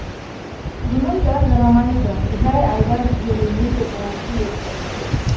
бұным да жарамайды жай айдап жіберуіме де болушы еді ғой